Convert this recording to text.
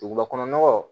Duguba kɔnɔ nɔgɔ